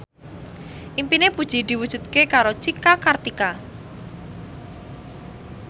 impine Puji diwujudke karo Cika Kartika